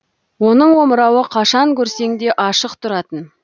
оның омырауы қашан көрсең де ашық тұратын